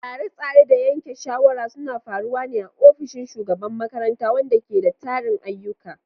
Tsare-tsare da yanke shawara suna faruwa ne a ofishin shugaban makarantar, wanda ke da tarin ayyuka.